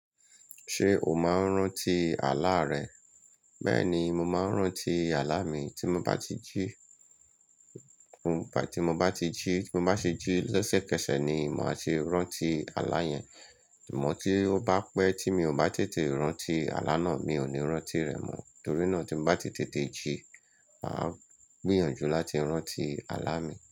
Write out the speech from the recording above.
Ṣé o máa ń rántí àlá rẹ? Bẹ́ẹ̀ni, mo máa ń rántí àlá mi. Tí mo bá ti jí, tí mo bá ti jí, tí mo bá ṣe jí lésẹ̀ kẹsẹ̀ ni màá ti rántí àlá yẹn. Ìmọ̀ tí ó bá pẹ́ tí mi ò bá tètè rántí àlá náà, mi ò ní rántí rẹ̀ mọ́. Torí náà tí mo bá tètè jí, màá gbìyànjú láti rántí àlá mi.